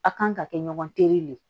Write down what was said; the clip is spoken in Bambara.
A' kan ka kɛ ɲɔgɔn tere de ye